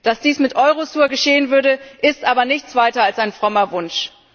Dass dies mit Eurosur geschehen würde, ist aber nichts weiter als ein frommer Wunsch.